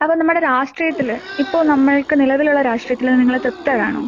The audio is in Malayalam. അപ്പൊ നമ്മുടെ രാഷ്ട്രീയത്തില് ഇപ്പൊ നമ്മൾക്ക് നിലവിലുള്ള രാഷ്ട്രീയത്തില് നിങ്ങള് തൃപ്തരാണോ?